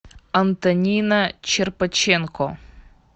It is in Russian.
антонина черпаченко